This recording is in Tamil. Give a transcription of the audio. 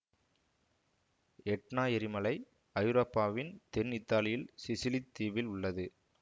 எட்னா எரிமலை ஐரோப்பாவின் தென் இத்தாலியில் சிசிலித் தீவில் உள்ளது